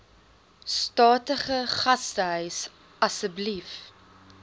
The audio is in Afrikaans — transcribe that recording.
statige gastehuis asseblief